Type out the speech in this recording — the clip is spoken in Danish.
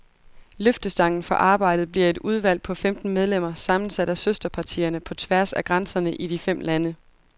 Løftestangen for arbejdet bliver et udvalg på femten medlemmer, sammensat af søsterpartierne på tværs af grænserne i de fem lande.